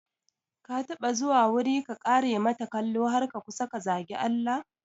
Ka taɓa zuwa wuri ka kare mata kalo har ka kusa ka zagi Allah?